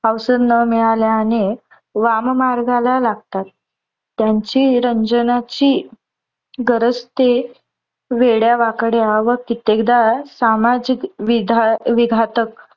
अवसर न मिळाल्याने वाम मार्गाला लागतात. त्यांची रंजनाची गरज ते वेड्या वाकड्या व कित्तेकदा सामाजिक विधा विघातक